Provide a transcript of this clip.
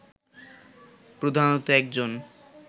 প্রধানত একজন